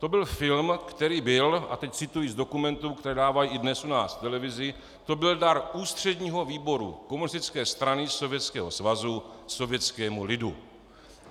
To byl film, který byl - a teď cituji z dokumentů, které dávají i dnes u nás v televizi - to byl dar Ústředního výboru Komunistické strany Sovětského svazu sovětskému lidu.